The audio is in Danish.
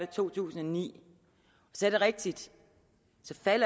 to tusind og ni så er det rigtigt